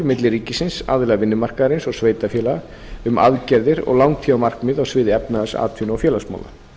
milli ríkisins aðila vinnumarkaðarins og sveitarfélaga um aðgerðir og langtímamarkmið á sviði efnahags atvinnu og félagsmála